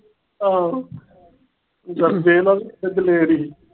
ਹਾਂ। ਚਲ ਦੇ ਇਹਨਾਂ ਨੂੰ ਦਲੇਰੀ।